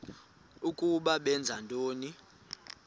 ukuba benza ntoni